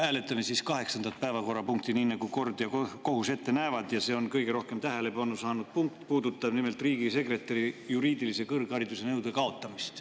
Hääletame siis kaheksandat, nii nagu kord ja kohus ette näevad, ja see on kõige rohkem tähelepanu saanud punkt, mis puudutab nimelt riigisekretäri juriidilise kõrghariduse nõude kaotamist.